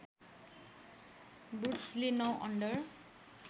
वुड्सले ९ under